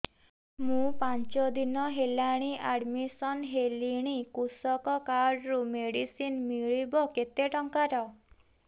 ମୁ ପାଞ୍ଚ ଦିନ ହେଲାଣି ଆଡ୍ମିଶନ ହେଲିଣି କୃଷକ କାର୍ଡ ରୁ ମେଡିସିନ ମିଳିବ କେତେ ଟଙ୍କାର